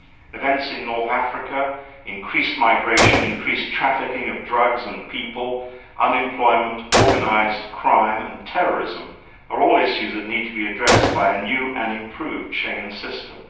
Events in North Africa, increased migration, increased trafficking of drugs and people, unemployment, organised crime and terrorism are all issues that need to be addressed by a new and improved Schengen system.